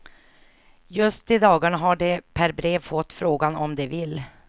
Just i dagarna har de per brev fått frågan om de vill.